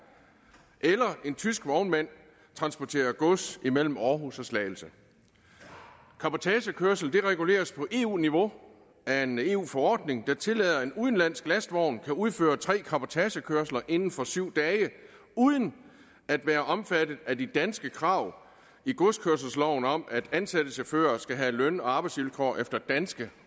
eller når en tysk vognmand transporterer gods imellem aarhus og slagelse cabotagekørsel reguleres på eu niveau af en eu forordning der tillader at en udenlandsk lastvogn kan udføre tre cabotagekørsler inden for syv dage uden at være omfattet af de danske krav i godskørselsloven om at ansatte chauffører skal have løn og arbejdsvilkår efter danske